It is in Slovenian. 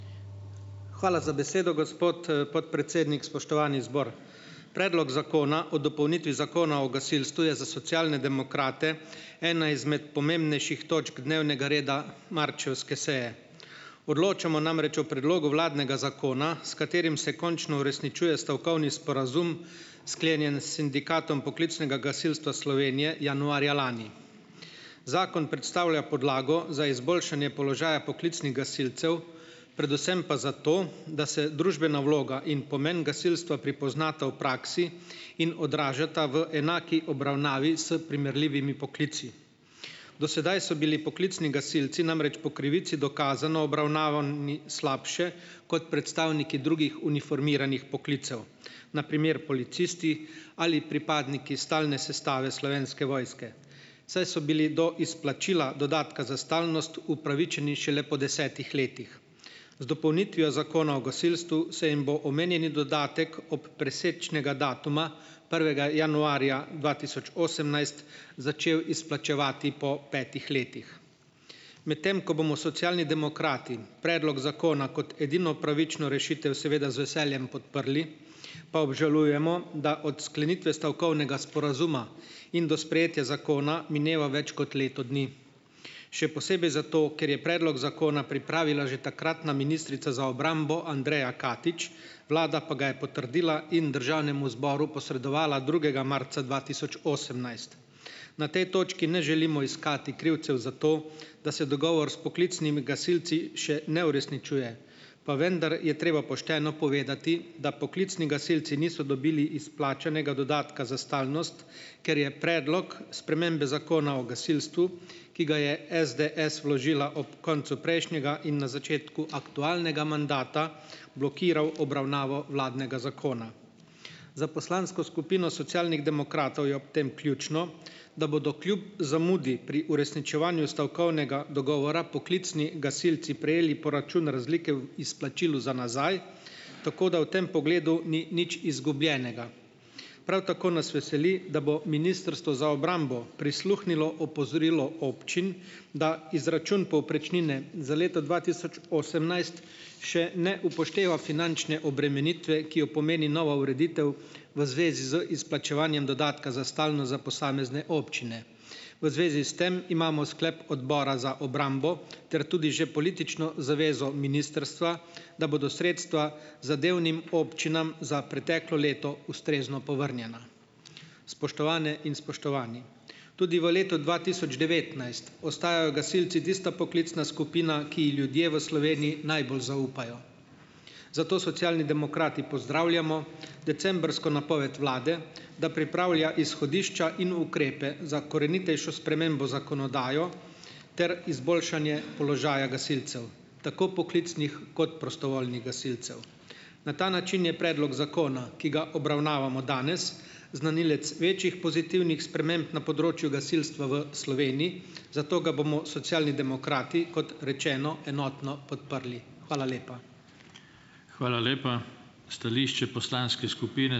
Hvala za besedo, gospod podpredsednik. Spoštovani zbor! Predlog zakona o dopolnitvi Zakona o gasilstvu je za Socialne demokrate ena izmed pomembnejših točk dnevnega reda marčevske seje. Odločamo namreč o predlogu vladnega zakona, s katerim se končno uresničuje stavkovni sporazum, sklenjen s sindikatom poklicnega gasilstva Slovenije januarja lani. Zakon predstavlja podlago za izboljšanje položaja poklicnih gasilcev, predvsem pa zato, da se družbena vloga in pomen gasilstva prepoznata v praksi in odražata v enaki obravnavi s primerljivimi poklici. Do sedaj so bili poklicni gasilci namreč po krivici dokazano obravnavani slabše kot predstavniki drugih uniformiranih poklicev. Na primer policisti ali pripadniki stalne sestave Slovenske vojske, saj so bili do izplačila dodatka za stalnost upravičeni šele po desetih letih. Z dopolnitvijo Zakona o gasilstvu se jim bo omenjeni dodatek ob presečnega datuma prvega januarja dva tisoč osemnajst začel izplačevati po petih letih. Medtem ko bomo Socialni demokrati predlog zakona kot edino pravično rešitev seveda z veseljem podprli pa obžalujemo, da od sklenitve stavkovnega sporazuma in do sprejetja zakona mineva več kot leto dni, še posebej zato, ker je predlog zakona pripravila že takratna ministrica za obrambo Andreja Katič, vlada pa ga je potrdila in državnemu zboru posredovala drugega marca dva tisoč osemnajst. Na tej točki ne želimo iskati krivcev za to, da se dogovor s poklicnimi gasilci še ne uresničuje, pa vendar je treba pošteno povedati, da poklicni gasilci niso dobili izplačanega dodatka za stalnost, ker je predlog spremembe Zakona o gasilstvu, ki ga je SDS vložila ob koncu prejšnjega in na začetku aktualnega mandata, blokiral obravnavo vladnega zakona. Za poslansko skupino Socialnih demokratov je ob tem ključno, da bodo kljub zamudi pri uresničevanju stavkovnega dogovora poklicni gasilci prejeli poračun razlike izplačil za nazaj, tako da v tem pogledu ni nič izgubljenega. Prav tako nas veseli, da bo Ministrstvo za obrambo prisluhnilo opozorilu občin, da izračun povprečnine za leto dva tisoč osemnajst še ne upošteva finančne obremenitve, ki jo pomeni nova ureditev v zvezi z izplačevanjem dodatka za stalnost za posamezne občine. V zvezi s tem imamo sklep Odbora za obrambo ter tudi že politično zavezo ministrstva, da bodo sredstva zadevnim občinam za preteklo leto ustrezno povrnjena. Spoštovane in spoštovani, tudi v letu dva tisoč devetnajst ostajajo gasilci tista poklicna skupina, ki ji ljudje v Sloveniji najbolj zaupajo, zato Socialni demokrati pozdravljamo decembrsko napoved vlade, da pripravlja izhodišča in ukrepe za korenitejšo spremembo zakonodaje ter izboljšanje položaja gasilcev, tako poklicnih kot prostovoljnih gasilcev. Na ta način je predlog zakona, ki ga obravnavamo danes, znanilec večjih pozitivnih sprememb na področju gasilstva v Sloveniji, zato ga bomo Socialni demokrati, kot rečeno, enotno podprli. Hvala lepa.